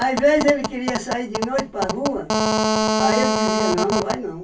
vezes ele queria sair de noite para a rua, aí eu dizia, não, não vai não.